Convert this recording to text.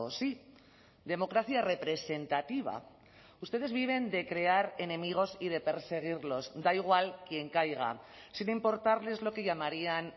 sí democracia representativa ustedes viven de crear enemigos y de perseguirlos da igual quien caiga sin importarles lo que llamarían